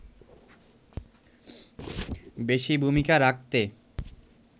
বেশি ভূমিকা রাখতে